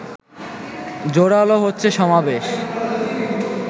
জোরালো হচ্ছে সমাবেশ